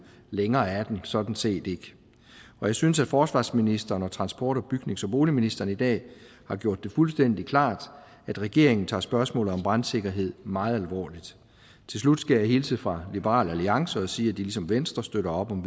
længere er den sådan set ikke og jeg synes at forsvarsministeren og transport bygnings og boligministeren i dag har gjort det fuldstændig klart at regeringen tager spørgsmålet om brandsikkerhed meget alvorligt til slut skal jeg hilse fra liberal alliance og sige at de ligesom venstre støtter op om